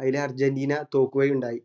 അയില് അർജന്റീന തോല്കുകയുണ്ടായി